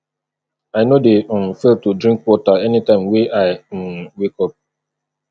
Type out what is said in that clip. i no um dey fail to drink water anytime wey i um wake up